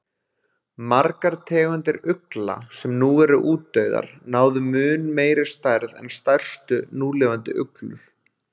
Margar tegundir ugla sem nú eru útdauðar, náðu mun meiri stærð en stærstu núlifandi uglur.